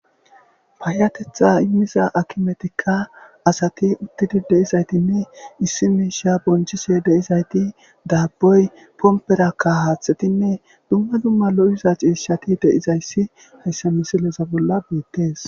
Payatetha imiza akimetika asati utidi deizayiti issi mishsha bonichishe deizayiti daboyi koberane haththeyi dumma dumma loiza cishshati hayisa misileza bolani beteesi